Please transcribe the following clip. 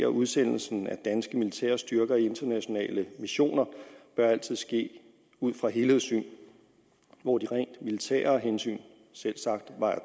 udsendelsen af danske militære styrker i internationale missioner bør altid ske ud fra helhedssyn hvor de rent militære hensyn selvsagt vejer